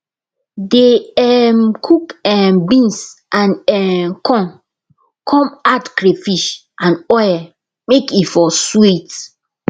dey um cook um beans and um corn come add crayfish and oil make e for sweet